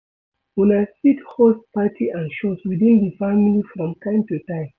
Una fit host party and shows within di family from time to time